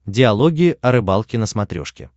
диалоги о рыбалке на смотрешке